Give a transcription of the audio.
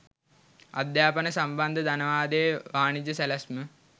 අධ්‍යාපනය සම්බන්ධ ධනවාදයේ වාණිජ සැලැස්ම